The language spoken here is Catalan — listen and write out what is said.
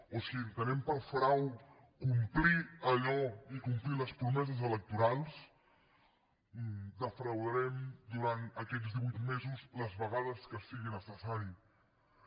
o si entenem per frau complir allò i complir les promeses electorals els defraudarem durant aquests divuit mesos les vegades que siguin necessàries